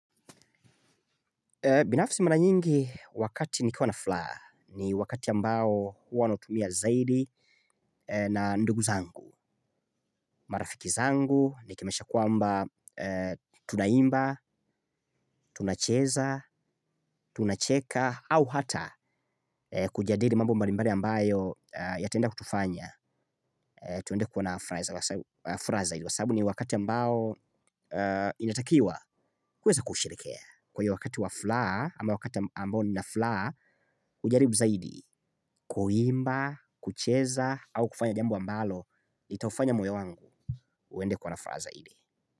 Binafsi mara nyingi wakati nikiwa na furaha ni wakati ambao huwa nautumia zaidi na ndugu zangu, marafiki zangu, nikimaanisha kwamba tuna imba, tunacheza, tunacheka au hata kujadili mambo mbalimbali ambayo yataenda kutufanya tuende kuwa na furaha zaidi kwa sababu ni wakati ambao unatakiwa uweze kusherehekea. Kwa hiyo wakati wa furaha, ama wakati ambao ni na furaha, hujaribu zaidi, kuimba, kucheza, au kufanya jambo ambalo, itaufanya moyo wangu, uende kuwa na furaha zaidi.